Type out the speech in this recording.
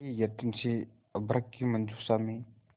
बड़े यत्न से अभ्र्रक की मंजुषा में